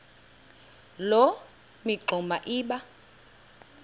loo mingxuma iba